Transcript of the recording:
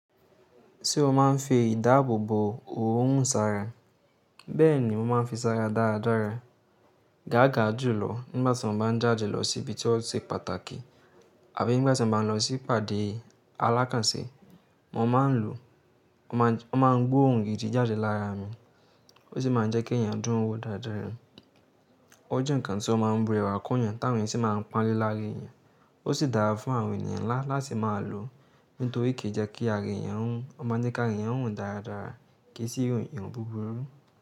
Ṣé o máa ń fi ìdáàbòbò òórùn sara? Bẹ́ẹ̀ni mo máa ń fi sára dáradára. Gáàga jùlọ nígbàtí mo bá jàde lọ sí ibi tí ó se pàtàkì àbí nígbàtí mo bá lọ sí ìpàdé alákànsé. Mo ma ń lò, wọ́n ma ń gbó òrun gìdì jáde lára mi, ó sì máa ń jẹ́ kí èèyàn dúró wo dáradára. Ó jẹ́ ǹkan tí ó má ń brewà kún èèyàn táwọn èèyàn sì máa ń panle láàra èèyàn, ó sì dára fún àwọn èèyàn ńlá láti máa lò nítorí kì í jẹ́ kí ara èèyàn rùn, ó máa ń jẹ kí ára èèyàn rùn dáradára kì í sì irun búburú.